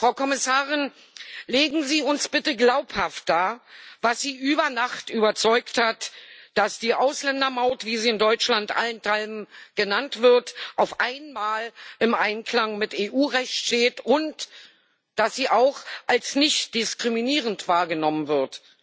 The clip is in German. Frau Kommissarin, legen Sie uns bitte glaubhaft dar, was Sie über Nacht überzeugt hat, dass die Ausländermaut, wie sie in Deutschland allenthalben genannt wird, auf einmal im Einklang mit EU Recht steht und dass sie auch als nichtdiskriminierend wahrgenommen wird.